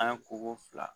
An ye koko fila